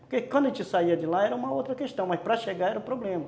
Porque quando a gente saía de lá era uma outra questão, mas para chegar era o problema.